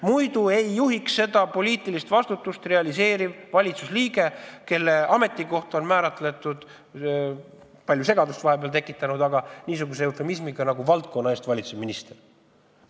Muidu ei juhiks selle poliitilise vastutuse kandmist valitsusliige, kelle ametikoht on määratletud sellise vahepeal palju segadust tekitanud eufemismiga, nagu on "valdkonna eest vastutav minister".